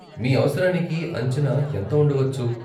మీ అవసరానికి అంచనా ఎంత ఉండవచ్చు?